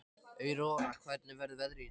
Aurora, hvernig verður veðrið á morgun?